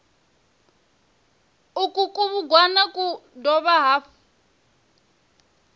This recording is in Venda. uku kubugwana ku dovha hafhu